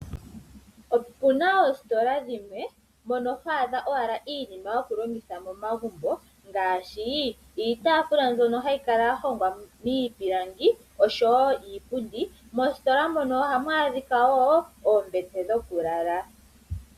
Opuna oositola dhimwe mono ho adha owala iinima yokulongitha momagumbo ngaashi iitafula mbyono hayi kala ya hongwa miipilangi, oshowo iipundi. Moositola mono ohamu adhika wo oombete dhokulala.